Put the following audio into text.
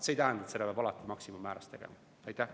See ei tähenda, et seda peab alati maksimummääras rakendama.